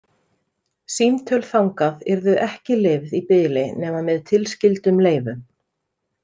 Símtöl þangað yrðu ekki leyfð í bili nema með tilskyldum leyfum.